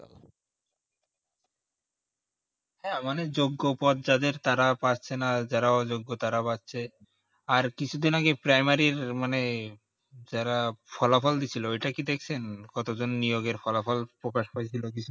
আহ মানে যোগ্য পদ যাদের তারা পাচ্ছে না যারা অযোগ্য তারা পাচ্ছে আর কিছু দিন আগে primary আর মানে যারা ফলাফল দিচ্ছিলো ওইটা কি দেখছিলেন কতজন নিয়োগের ফলাফল প্রকাশ হয়েছিল